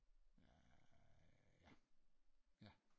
Ja ja